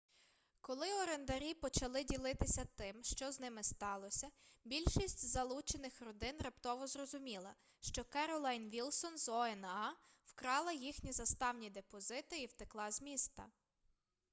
коли орендарі почали ділитися тим що з ними сталося більшість залучених родин раптово зрозуміла що керолайн вілсон з oha вкрала їхні заставні депозити і втекла з міста